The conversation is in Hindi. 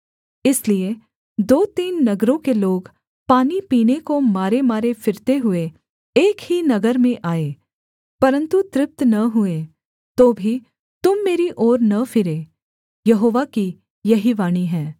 इसलिए दो तीन नगरों के लोग पानी पीने को मारेमारे फिरते हुए एक ही नगर में आए परन्तु तृप्त न हुए तो भी तुम मेरी ओर न फिरे यहोवा की यही वाणी है